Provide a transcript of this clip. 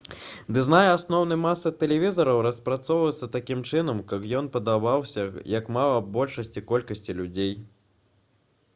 дызайн асноўнай масы тэлевізараў распрацоўваецца такім чынам каб ён падабаўся як мага большай колькасці людзей